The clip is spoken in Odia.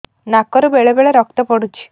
ନାକରୁ ବେଳେ ବେଳେ ରକ୍ତ ପଡୁଛି